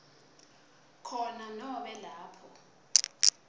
khona nobe lapho